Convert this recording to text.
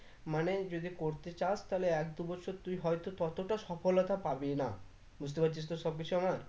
মানে যদি করতে চাস তা হলে এক দু বছর তুই হয়তো ততটা সফলতা পাবি না বুঝতে পারছিস তো সবকিছু আমার